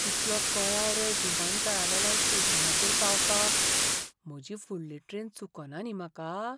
कितलो कळाव रे विमानतळावेल्यान स्टेशनाचेर पावपाक, म्हजी फुडली ट्रेन चुकना न्ही म्हाका?